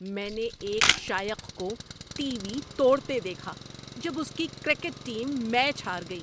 میں نے ایک شائق کو ٹی وی توڑتے دیکھا جب اس کی کرکٹ ٹیم میچ ہار گئی۔